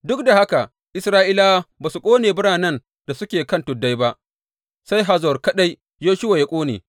Duk da haka Isra’ilawa ba su ƙone biranen da suke kan tuddai ba, sai Hazor kaɗai Yoshuwa ya ƙone.